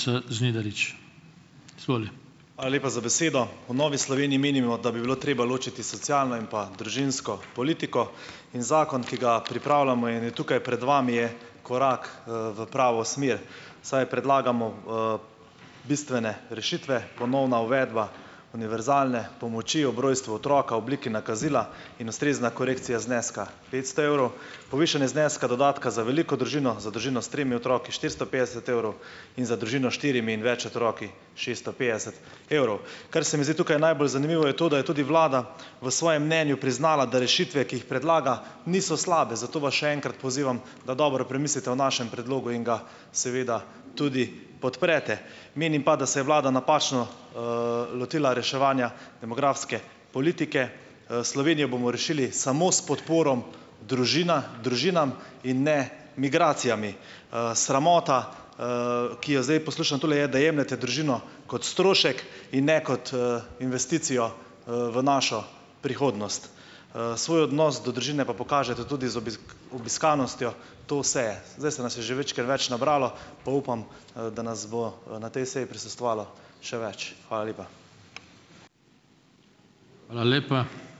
Hvala lepa za besedo. V Novi Sloveniji menimo, da bi bilo treba ločiti socialno in pa družinsko politiko. In zakon, ki ga pripravljamo in je tukaj pred vami, je korak, v pravo smer, saj predlagamo, bistvene rešitve, ponovna uvedba univerzalne pomoči ob rojstvu otroka v obliki nakazila in ustrezna korekcija zneska petsto evrov, povišanje zneska dodatka za veliko družino, za družino s tremi otroki štiristo petdeset evrov in za družino s štirimi in več otroki šeststo petdeset evrov. Kar se mi zdi tukaj najbolj zanimivo, je to, da je tudi vlada v svojem mnenju priznala, da rešitve, ki jih predlaga, niso slabe. Zato vas še enkrat pozivam, da dobro premislite o našem predlogu in ga seveda tudi podprete. Menim pa, da se je vlada napačno, lotila reševanja demografske politike. Slovenijo bomo rešili samo s podporo družina družinam in ne migracijam. Sramota, ki jo zdaj poslušam tule, je, da jemljete družino kot strošek in ne kot, investicijo, v našo prihodnost. Svoj odnos do družine pa pokažete tudi z obiskanostjo te seje. Zdaj se nas je majčkeno več nabralo, pa upam, da nas bo, na tej seji prisostvalo še več. Hvala lepa.